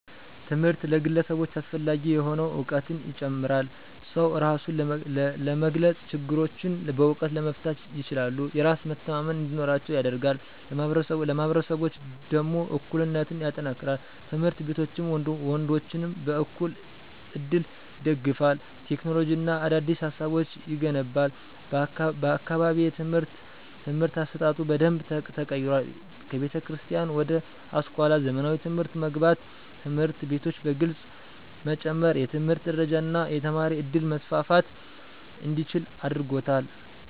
ትምህርት ለግለሰቦች አስፈላጊ የሆነዉ፤ እዉቀትን ይጨምራል። ሰዉ እራሱን ለመግለፅ፣ ችግሮችን በእዉቀት ለመፍታት ይችላሉ። የራስ መተማመን እንዲኖራቸዉ ያደርጋል። ለማህበረሰቦች ደሞ እኩልነትን ያጠናክራል፣ ትምህርት ሴቶችንም ወንዶችንም በዕኩል እድል ይደግፋል። ቴክኖሎጂ እና አዳዲስ ሀሳቦች ይገነባል። በአካባቢየ የትምህርት አሰጣጡ በደንብ ተቀይሯል ከቤተክርስቲያን ወደ አስኳላ (ዘመናዊ) ትምህርት መግባት፣ ትምህርት ቤቶች በግልፅ መጨመር፣ የትምህርት ደረጃ እና የተማሪ ዕድል መስፋፋት እንዲችል አድርጎታል።